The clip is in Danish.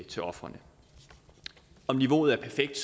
til ofrene om niveauet er perfekt